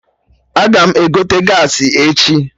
Aga m egote gaasị echi